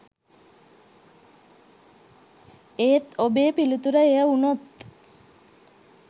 ඒත් ඔබේ පිළිතුර එය වුනොත්